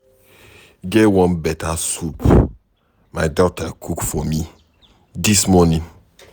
E get one beta soup my daughter cook for me dis morning.